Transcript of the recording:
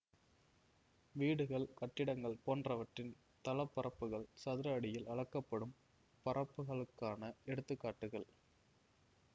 வீடுகள் கட்டிடங்கள் போன்றவற்றின் தளப்பரப்புக்கள் சதுர அடியில் அளக்கப்படும் பரப்புகளுக்கான எடுத்து காட்டுகள்